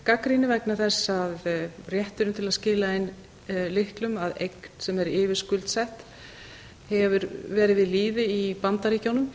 gagnrýni vegna þess að rétturinn til að skila inn lyklum að eign sem er yfirskuldsett hefur við lýði í bandaríkjunum